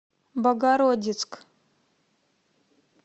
богородицк